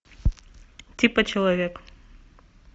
типа человек